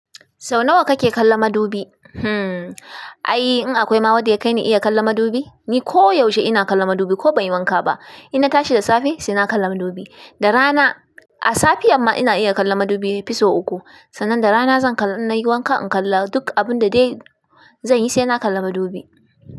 Sau nawa kake kalla madubi? Hmm, ai in akwai ma wadda yai kaini iya kallan madubi, ni ko yaushe ina kalla madubi ko ban yi wanka ba. Ina tashi da safe sai na kalla madubi. Da rana a safiyan ma ina iya kallan madubi fisu uku. Sannan da rana zan innayi wanka in kalla duk abun da dai zan yi sai na kalla madubi.